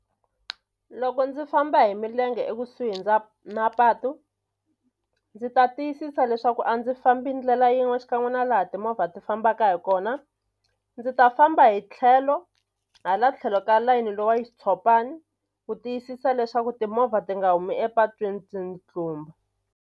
Loko ndzi famba hi milenge ekusuhi na mapatu ndzi ta tiyisisa leswaku a ndzi fambi ndlela yin'we xikan'we na laha timovha ti fambaka hi kona ndzi ta famba hi tlhelo hala tlhelo ka layini lowa xitshopani ku tiyisisa leswaku timovha ti nga humi epatwini ti ni tlumba.